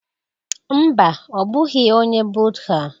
Mba, ọ bụghị onye Buddha